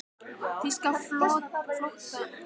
Þýska flotanum þótti tími til kominn að skakka þennan leik.